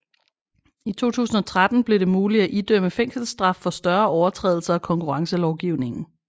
I 2013 blev det muligt at idømme fængselsstraf for større overtrædelser af konkurrencelovgivningen